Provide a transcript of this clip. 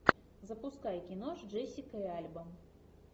запускай кино с джессикой альба